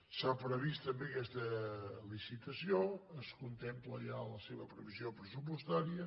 s’ha previst també aquesta licitació es contempla ja la seva previsió pressupostària